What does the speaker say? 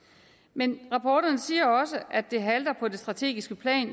men rapporterne siger også at det halter på det strategiske plan